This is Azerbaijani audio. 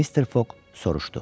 Mister Foq soruşdu: